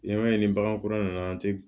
N'i y'a ye ni bagan kura nana an tɛ